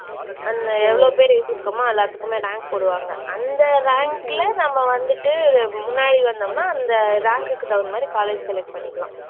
எவ்ளோ பேர் எழுதிருக்கோமோ எல்லாத்துக்குமே rank போடுவாங்க. அந்த rank ல நம்ம வந்துட்டு முன்னாடி வந்தோம்னா அந்த rank உக்கு தகுந்த மாதிரி college select பண்ணிக்கலாம்.